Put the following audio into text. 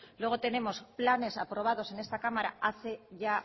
luego tenemos planes aprobados en esta cámara hace ya